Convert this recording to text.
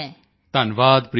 ਧੰਨਵਾਦ ਪ੍ਰੀਤੀ ਜੀ